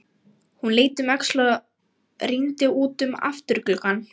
Hann leit um öxl og rýndi út um afturgluggann.